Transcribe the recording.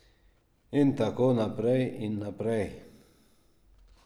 In tako naprej in naprej.